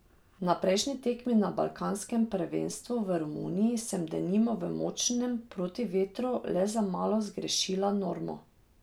Na prejšnji tekmi na balkanskem prvenstvu v Romuniji sem denimo v močnem protivetru le za malo zgrešila normo.